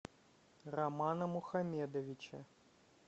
романа мухамедовича